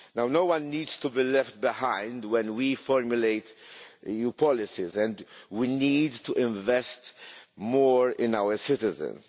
No one needs to be left behind when we formulate new policies, and we need to invest more in our citizens.